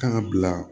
Kan ka bila